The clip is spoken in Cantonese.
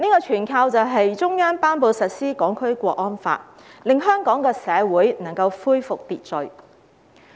全靠中央頒布實施《香港國安法》，香港社會才能夠恢復秩序。